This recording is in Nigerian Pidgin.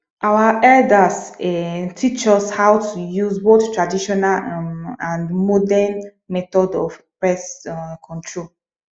our elders um teach us how to use both traditional um and modern method of pest um control